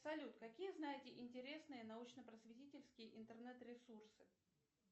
салют какие знаете интересные научно просветительские интернет ресурсы